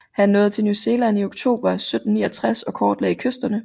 Han nåede til New Zealand i oktober 1769 og kortlagde kysterne